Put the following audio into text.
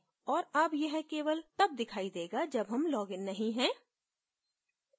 और अब यह केवल तब दिखाई देगा जब हम लॉगिन नहीं है